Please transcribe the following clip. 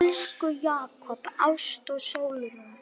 Elsku Jakob, Ásta og Sólrún.